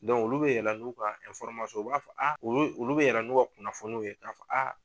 olu bɛ yɛlɛ n'u ka u b'a fɔ o olu bɛ yɛlɛ n'u ka kunnafoniw ye ka fɔ